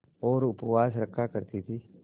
और उपवास रखा करती थीं